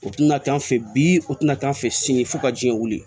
O tɛna taa an fɛ yen bi o tɛna k'an fɛ sini fo ka jiɲɛ wuli